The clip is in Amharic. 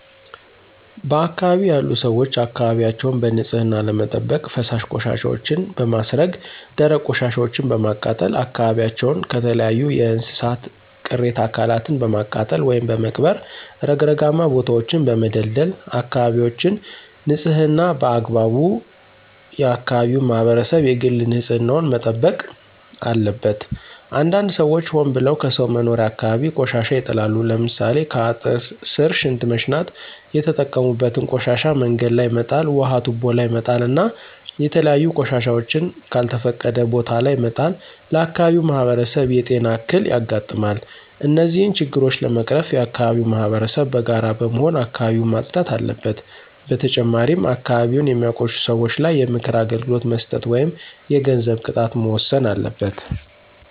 በአካባቢው ያሉ ሰዎች አካባቢያቸውን በንፅህና ለመጠበቅ ፈሳሽ ቆሻሻወችን በማስረገ ደረቅ ቆሻሻወችን በማቃጠል አካባቢዎችን ከተለያዩ የእንስሳት ቅሬተ አካላትን በማቃጠል ወይም በመቅበር ረግረጋማ ቦታወችን በመደልደል አካበቢወችን ንፅህና በአግባቡ የአከባቢው ማህበረሰብ የግል ንፅህና ዉን መጠበቅ አለበት። አንዳንድ ሰዎች ሆን ብለው ከሰው መኖሪያ አካባቢ ቆሻሻ ይጥላሉ። ለምሳሌ ከአጥር ስር ሽንት መሽናት የተጠቀሙበትን ቆሻሻ መንገድ ላይ መጣል ውሀ ቱቦ ላይ መጣል እና የተለያዩ ቆሻሻወችን ከልተፈቀደ ቦታ ለይ መጣል ለአካባቢው ማህበረሰብ የጤና እክል ያጋጥማል። እነዚህን ችግሮች ለመቀረፍ የአከባቢው ማህበረሰብ በጋራ በመሆን አካባቢውን ማፅዳት አለበት። በተጨማሪም አካባቢን የሚያቆሽሹ ሰወች ላይ የምክር አገልግሎት መስጠት ወይም የገንዘብ ቅጣት መወሰን አለበት።